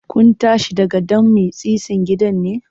Kun tashi daga ɗan mitsitsin gidan ne?